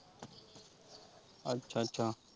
ਅੱਛਾ ਅੱਛਾ।